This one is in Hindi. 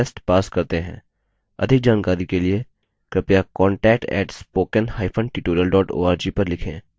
अधिक जानकारी के लिए कृपया contact @spokentutorial org पर लिखें